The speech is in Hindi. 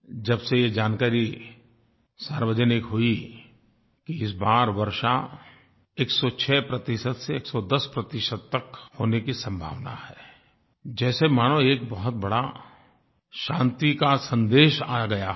जब से ये जानकारी सार्वजनिक हुई कि इस बार वर्षा 106 प्रतिशत से 110 प्रतिशत तक होने की संभावना है जैसे मानो एक बहुत बड़ा शान्ति का सन्देश आ गया हो